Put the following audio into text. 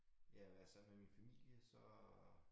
Ja være sammen med min familie så